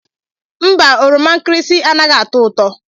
Mba oroma nkirisi anaghị atọ ụtọ